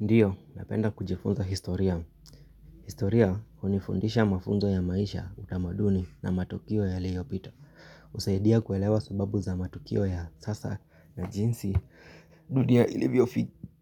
Ndiyo, napenda kujifunza historia. Historia, unifundisha mafunzo ya maisha, utamaduni na matukio ya liyobito. Usaidia kuelewa subabu za matukio ya sasa na jinsi dudia ilivyo